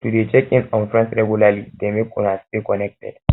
to de check in on friends regularly de make una stay connected